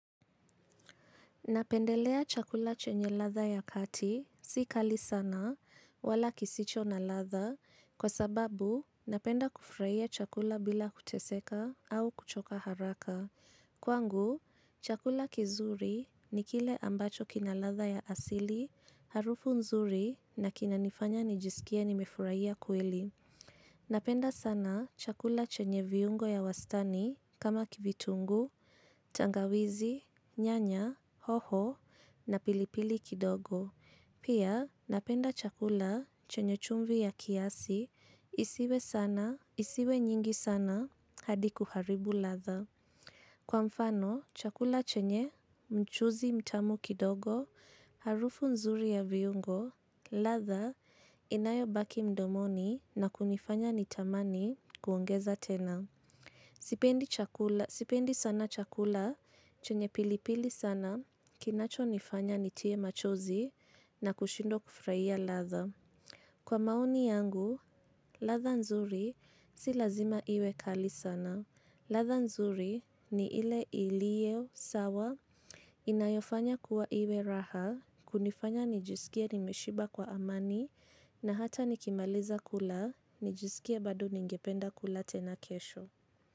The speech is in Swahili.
Napendelea chakula chenye latha ya kati si kali sana wala kisicho na latha kwa sababu napenda kufurahia chakula bila kuteseka au kuchoka haraka. Kwangu, chakula kizuri ni kile ambacho kina latha ya asili, harufu nzuri na kina nifanya nijisikia nimefurahia kweli. Napenda sana chakula chenye viungo ya wastani kama kivitungu, tangawizi, nyanya, hoho na pilipili kidogo. Pia napenda chakula chenye chumvi ya kiasi isiwe sana, isiwe nyingi sana hadi kuharibu latha. Kwa mfano, chakula chenye mchuzi mtamu kidogo, harufu nzuri ya viungo, latha inayo baki mdomoni na kunifanya nitamani kuongeza tena. Sipendi sana chakula chenye pilipili sana kinacho nifanya nitie machozi na kushindwa kufraia latha. Kwa maoni yangu, latha nzuri si lazima iwe kali sana. Latha nzuri ni ile ilio sawa, inayofanya kuwa iwe raha, kunifanya nijisikie nimeshiba kwa amani, na hata nikimaliza kula, nijisikie bado ningependa kula tena kesho.